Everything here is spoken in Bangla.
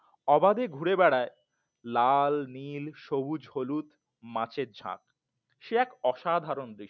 অবাদে ঘুরে বেড়ায় লাল নীল সবুজ হলুদ মাছের ঝাঁক সে এক অসাধারণ দৃশ্য